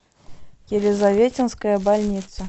елизаветинская больница